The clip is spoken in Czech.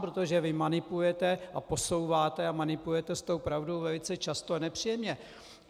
Protože vy manipulujete a posouváte a manipulujete s tou pravdou velice často a nepříjemně.